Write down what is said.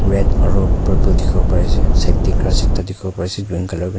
red aro purple dikhi bo pari ase side tae ekta grass dikhibo pari ase green colour kurna.